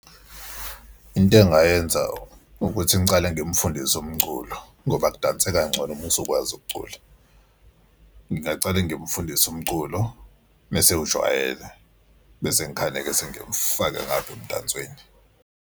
Into engingayenza ukuthi ngicale ngimfundise umculo ngoba kudanseka ngcono uma usukwazi ukucula. Ngingacale ngimfundise umculo uma esewujwayele bese ngikhane sengimfake ngaphi emdansweni.